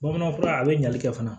Bamanan fura a bɛ ɲali kɛ fana